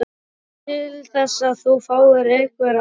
Veistu til þess að þú fáir einhver atkvæði?